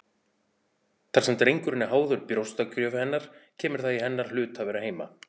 Þar sem drengurinn er háður brjóstagjöf hennar kemur það í hennar hlut að vera heima.